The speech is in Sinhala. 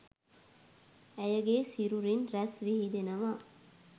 ඇයගේ සිරුරින් රැස් විහිදෙනවා